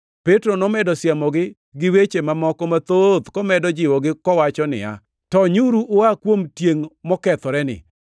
Petro nomedo siemogi gi weche mamoko mathoth; komedo jiwogi kowacho niya, “Tonyuru ua kuom tiengʼ mokethoreni.”